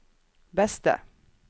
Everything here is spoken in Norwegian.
beste